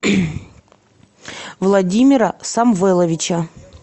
владимира самвеловича